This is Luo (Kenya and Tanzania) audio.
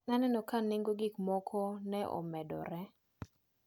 Naneno ka nengo gikmoko ne omedore.